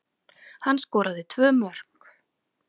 Hann skoraði tvö mörk